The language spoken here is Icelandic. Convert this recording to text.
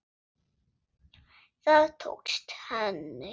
Það tókst henni.